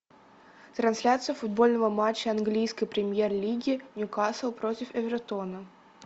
трансляция футбольного матча английской премьер лиги ньюкасл против эвертона